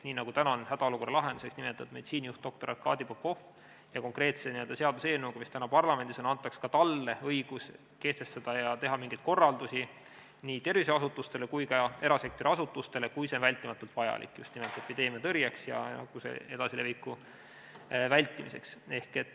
Nüüd on hädaolukorra meditsiinijuhiks nimetatud doktor Arkadi Popov ja konkreetse seaduseelnõuga, mis täna parlamendis on, antakse talle õigus anda korraldusi nii tervishoiuasutustele kui ka erasektori asutustele, kui see on vältimatult vajalik just nimelt epideemia tõrjeks ja nakkuse edasileviku vältimiseks.